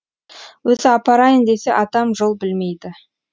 өзі апарайын десе атам жол білмейді